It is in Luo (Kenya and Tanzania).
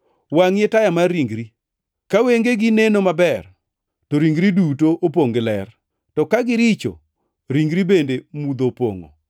Wangʼi e taya mar ringri, ka wengegi neno maber, to ringri duto opongʼ gi ler. To ka giricho, ringri bende mudho opongʼo.